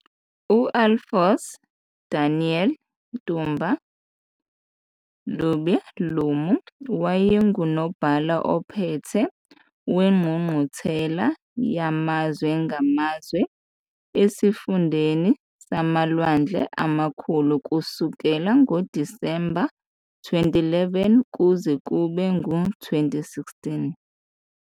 U-Alphonse Daniel Ntumba Luaba Lumu wayenguNobhala Ophethe Wengqungquthela Yamazwe Ngamazwe Esifundeni SamaLwandle Amakhulu kusukela ngoDisemba 2011 kuze kube ngu-2016.